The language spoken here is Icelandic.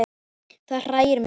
Það hræðir mig smá.